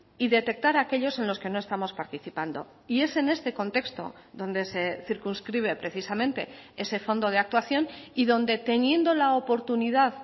y detectar aquellos en los que no estamos participando y es en este contexto donde se circunscribe precisamente ese fondo de actuación y donde teniendo la oportunidad